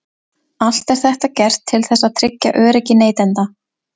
Allt er þetta gert til þess að tryggja öryggi neytenda.